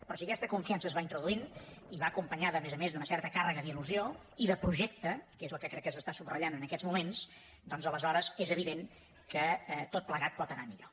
però si aquesta confiança es va introduint i va acompanyada a més a més d’una certa càrrega d’ilprojecte que és el que crec que s’està subratllant en aquests moments doncs aleshores és evident que tot plegat pot anar millor